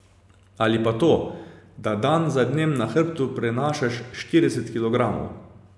Ali pa to, da dan za dnem na hrbtu prenašaš štirideset kilogramov.